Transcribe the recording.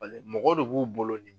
mɔgɔ de b'u bolo